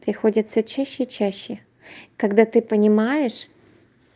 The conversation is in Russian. приходится чаще и чаще когда ты понимаешь